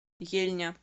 ельня